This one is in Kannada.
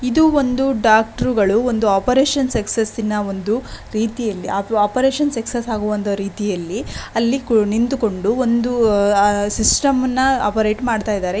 ಇದು ಒಂದು ಡಾಕ್ಟ್ರುಗಳು ಒಂದು ಆಪರೇಷನ್ ಸುಕ್ಸ್ ಸ್ಸಿನ ಒಂದು ರೀತಿಯಲ್ಲಿ ಆಪ್-ಆಪರೇಷನ್ ಸಕ್ಸಸ್ ಆಗುವಂದು ರೀತಿಯಲ್ಲಿ ಅಲ್ಲಿ ಕು ನಿಂತುಕೊಂಡು ಒಂದು ಅಹ್ ಸಿಸ್ಟಮ್ ನ ಆಪರೇಟ್ ಮಾಡ್ತಯ್ದರೆ.